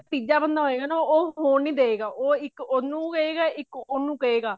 ਤੀਜਾ ਬੰਦਾ ਹੋਇਗਾ ਉਹ ਹੋਣ ਨੀ ਦਵੇਗਾ ਇੱਕ ਉਹਨੂੰ ਕਹੇਗਾ ਇੱਕ ਉਹਨੂੰ ਕਹੇਗਾ